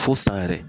Fo san yɛrɛ